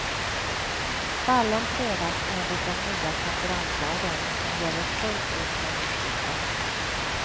Fallen prövas enligt den nya konkurrenslagen, som gäller fullt ut från årsskiftet.